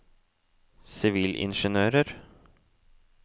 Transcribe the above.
sivilingeniører